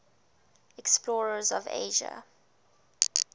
explorers of asia